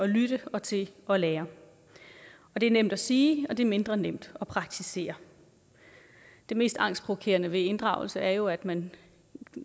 lytte og til at lære det er nemt at sige og det er mindre nemt at praktisere det mest angstprovokerende ved inddragelse er jo at man